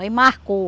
Aí marcou.